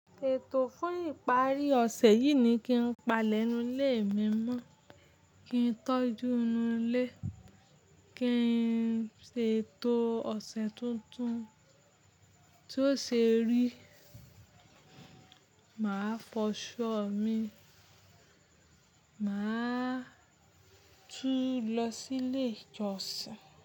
Ètò fún ìparí ọ̀sẹ̀ yìí ni kí n pa lénu ilé mi mọ́, kí n tọ́jú inú ilé, kí n ṣètò ọ̀sẹ̀ tuntun. Tí ó ṣe rí, màá fọṣọ mi, màá tún lọ sí ilé ìjọsìn.